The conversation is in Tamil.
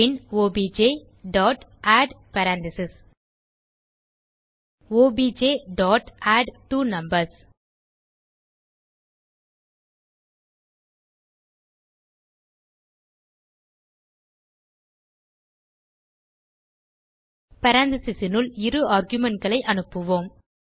பின் objஆட் பேரெந்தீசஸ் objஅட்ட்வோனம்பர்ஸ் parenthesesனுள் இரு argumentகளை அனுப்புவோம்